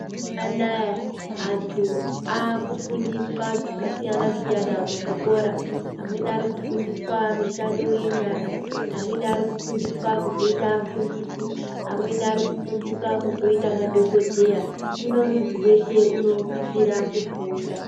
Mazuwa anaya, antu aakufundiswa zvakasiyana-siyana muzvikora, amweni ari kufundiswa mishando yenyara. Amweni ari kufundiswa kuzoita afundisi. Amweni ari kufundiswa kuzoita madhokodheya. Hino muntu weshe unosisa kufunda.